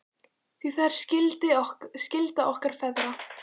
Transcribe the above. Því það er skylda okkar feðra.